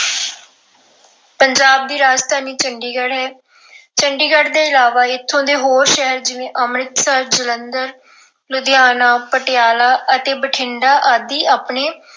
ਪੰਜਾਬ ਦੀ ਰਾਜਧਾਨੀ ਚੰਡੀਗੜ੍ਹ ਹੈ। ਚੰਡੀਗੜ ਤੋਂ ਇਲਾਵਾ ਇੱਥੋਂ ਦੇ ਹੋਰ ਸ਼ਹਿਰ ਜਿਵੇਂ ਅੰਮ੍ਰਿਤਸਰ, ਜਲੰਧਰ, ਲੁਧਿਆਣਾ, ਪਟਿਆਲਾ ਅਤੇ ਬਠਿੰਡਾ ਆਦਿ ਆਪਣੇ